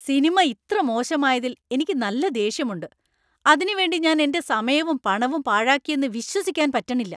Cinema ഇത്ര മോശമായതിൽ എനിക്ക് നല്ല ദേഷ്യമുണ്ട്. അതിനു വേണ്ടി ഞാൻ എന്‍റെ സമയവും പണവും പാഴാക്കിയെന്നു വിശ്വസിക്കാൻ പറ്റണില്ല.